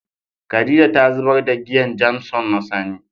Khadijah ta zubar da giyan "Jameson " na sani.